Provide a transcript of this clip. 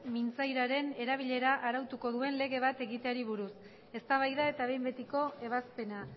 mintzairaren erabilera arautuko duen lege bat egiteari buruz eztabaida eta behin betiko ebazpena